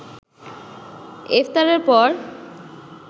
ইফতারের পর